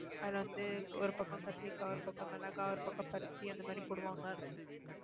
அதுல வந்து ஒரு பக்கம் கத்திரிக்காய் ஒரு பக்கம் மிளகாய் ஒரு பக்கம் பருத்தி அந்த மாதிரி போடுவாங்க